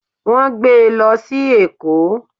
Won gbe e lo si Eko.